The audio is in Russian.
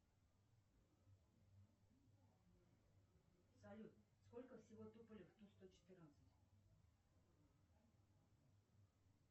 салют сколько всего туполев в ту сто четырнадцать